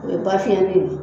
O ye bafiyɛn